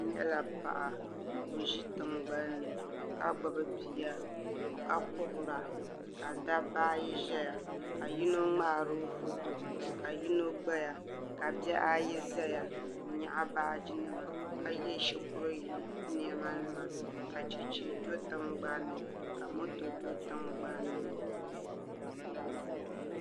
N nyɛla paɣa ka o ʒi tingbanni ka gbubi bia ka kuhura ka dabba ayi ʒɛya ka yino ŋmaaro foto ka yino gbaya ka bihi ayi ʒɛya n nyaɣa baaji nima ka yɛ shikuru niɛma nima ka chɛchɛ do tingbanni ka moto do tingbanni